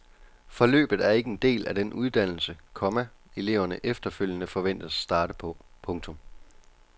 Forløbet er ikke en del af den uddannelse, komma eleverne efterfølgende forventes at starte på. punktum